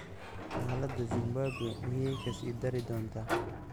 Xaalada Zimbabwe miyay kasii dari doontaa?